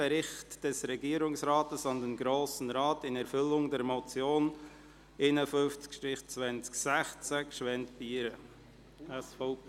Bericht des Regierungsrates an den Grossen Rat in Erfü llung der Motion 051-2016 Gschwend-Pieren (SVP)».